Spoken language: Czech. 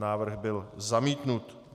Návrh byl zamítnut.